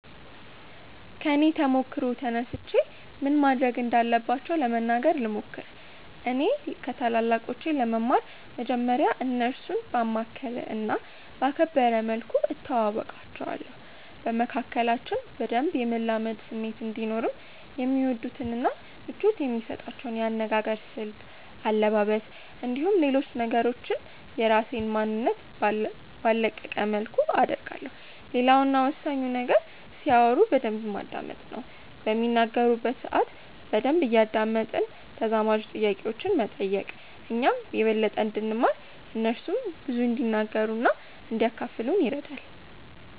ከኔ ተሞክሮ ተነስቼ ምን ማድረግ እንዳለባቸው ለመናገር ልሞክር። እኔ ከታላላቆቼ ለመማር መጀመርያ እነርሱን ባማከለ እና ባከበረ መልኩ እተዋወቃቸዋለሁ። በመካከላችን በደንብ የመላመድ ስሜት እንዲኖርም የሚወዱትን እና ምቾት የሚሰጣቸውን የአነጋገር ስልት፣ አለባበስ፣ እንዲሁም ሌሎች ነገሮችን የራሴን ማንነት ባልለቀቀ መልኩ አደርጋለሁ። ሌላው እና ወሳኙ ነገር ሲያወሩ በደንብ ማዳመጥ ነው። በሚናገሩበት ሰአት በደንብ እያደመጥን ተዛማጅ ጥያቄዎችን መጠየቅ እኛም የበለጠ እንድንማር እነርሱም ብዙ እንዲናገሩ እና እንዲያካፍሉን ይረዳል።